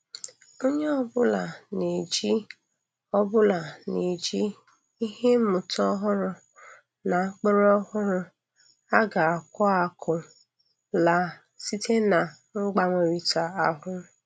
Onye obụla na-eji obụla na-eji ihe mmụta ọhụrụ na mkpụrụ ọhụrụ a ga-aku akụ laa site na mgbanwerịta ahụ.